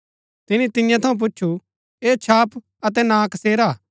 तिनी तियां थऊँ पुछु ऐह छाप अतै नां कसेरा हा